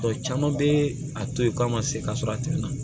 caman bɛ a to yen k'a ma se ka sɔrɔ a tɛmɛna